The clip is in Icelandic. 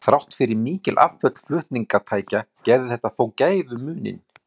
Þrátt fyrir mikil afföll flutningatækja gerði þetta þó gæfumuninn.